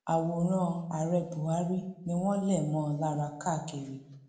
àwòrán ààrẹ buhari ni wọn lè mọ ọn lára káàkiri